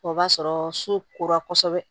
O b'a sɔrɔ so kora kosɛbɛ